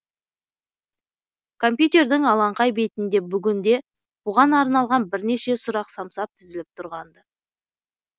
компьютердің алаңқай бетінде бүгін де бұған арналған бірнеше сұрақ самсап тізіліп тұрған ды